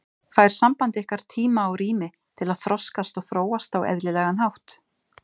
Fær samband ykkar tíma og rými til að þroskast og þróast á eðlilegan hátt?